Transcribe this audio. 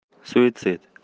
суицид